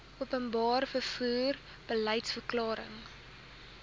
openbare vervoer beliedsverklaring